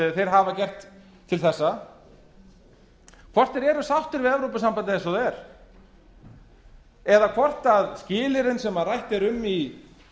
þeir hafa gert til þessa hvort þeir eru sáttir við evrópusambandið eins og það er eða hvort skilyrðin sem rætt er um í